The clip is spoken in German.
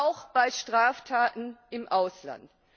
auch bei Straftaten im Ausland.